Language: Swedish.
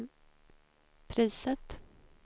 priset